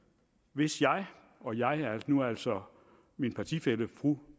hvis jeg og jeg er nu altså min partifælle fru